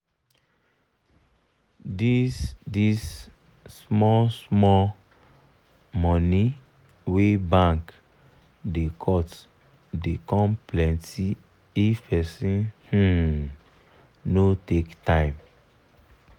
dis dis small small money wey bank da cut da come plenty if person um no take time